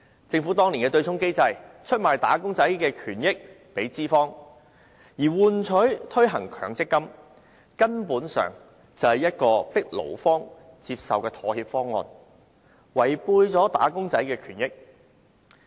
政府當年制訂對沖機制，出賣"打工仔"的權益給資方，以換取他們同意推行強積金，根本就是一個迫勞方接受的妥協方案，損害"打工仔"的權益。